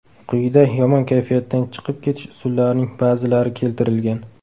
Quyida yomon kayfiyatdan chiqib ketish usullarining ba’zilari keltirilgan.